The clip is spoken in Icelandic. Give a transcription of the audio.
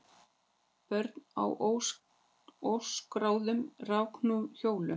Börn á óskráðum rafknúnum hjólum